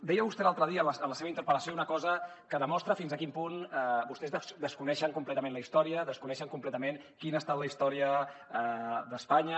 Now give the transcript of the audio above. deia vostè l’altre dia en la seva interpel·lació una cosa que demostra fins a quin punt vostès desconeixen completament la història desconeixen completament quina ha estat la història d’espanya